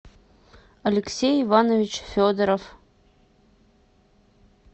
алексей иванович федоров